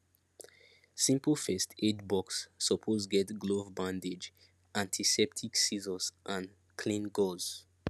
simple first aid box suppose get glove bandage antiseptic scissors and clean gauze